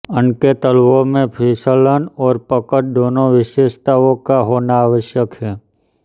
उनके तलवों में फिसलन और पकड़ दोनों विशेषताओं का होना आवश्यक है